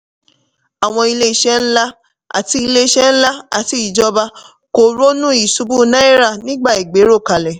àwọn ilé-iṣẹ́ nlá àti ilé-iṣẹ́ nlá àti ìjọba kò ronú ìṣubú náírà nígbà ìgbéròkálẹ̀.